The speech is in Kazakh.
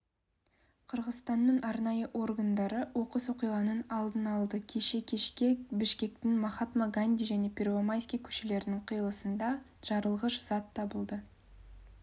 қырғызстанның арнайы органдары оқыс оқиғаның алдын алды кеше кешке бішкектің махатма ганди және первомайский көшелерінің қиылысында жарылғыш зат табылды